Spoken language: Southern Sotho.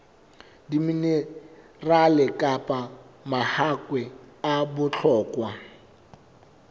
diminerale kapa mahakwe a bohlokwa